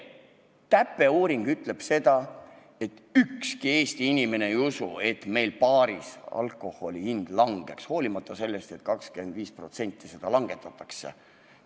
TÄPE uuring ütleb seda, et ükski Eesti inimene ei usu, et meil baaris alkoholi hind langeb, hoolimata sellest, et aktsiisi 25% langetatakse.